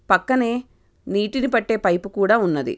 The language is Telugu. పక్కనే నీటిని పట్టె పైపు కూడా ఉన్నదీ.